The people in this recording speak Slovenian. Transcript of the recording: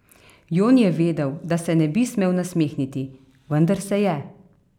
Jon je vedel, da se ne bi smel nasmehniti, vendar se je.